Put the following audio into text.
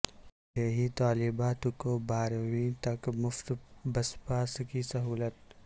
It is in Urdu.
دیہی طالبات کوبارہویں تک مفت بس پاس کی سہولت